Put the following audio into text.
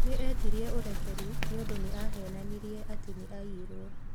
Nĩ eetire ũrekeri nĩ ũndũ nĩ aheenanirie atĩ nĩ aiyirwo.